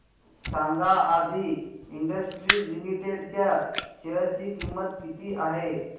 सांगा Aadi industries limited च्या share ची किंमत किती आहे